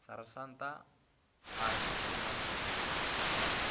sersanta a re o na